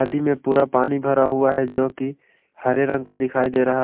दी में पूरा पानी भरा हुआ है जो कि हरे रंग का दिखाई दे रहा है।